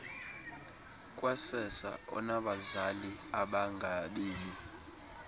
kwasersa onabazali abangabemi